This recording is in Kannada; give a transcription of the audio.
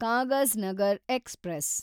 ಕಾಗಜ್‌ನಗರ್ ಎಕ್ಸ್‌ಪ್ರೆಸ್